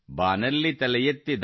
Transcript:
ಬಾನಲ್ಲಿ ತಲೆ ಎತ್ತಿ